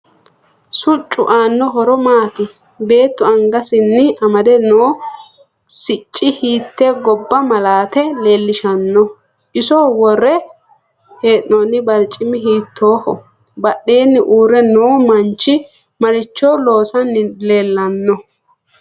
Siccu aano horo maati beetu anggsini amade noo sicci hiite gobba malaate leelishanno iso worre heenooni barcimi hiitooho badheeni uure noo manchi maricho loosani leelanno